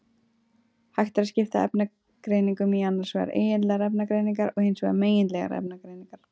Hægt er að skipta efnagreiningum í annars vegar eigindlegar efnagreiningar og hins vegar megindlegar efnagreiningar.